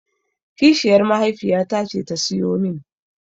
Kishiyar mahaifiyata ce ta siyo min.